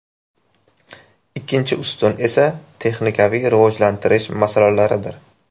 Ikkinchi ustun esa texnikaviy rivojlantirish masalalaridir.